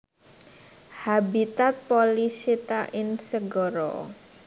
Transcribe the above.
Habitat Polychaeta ing segara